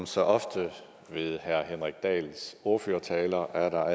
så ofte med herre henrik dahls ordførertaler er der